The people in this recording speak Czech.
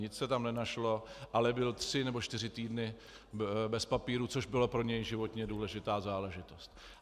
Nic se tam nenašlo, ale byl tři nebo čtyři týdny bez papírů, což byla pro něj životně důležitá záležitost.